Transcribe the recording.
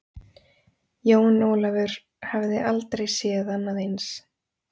Jón Ólafur hafði aldrei séð annað eins.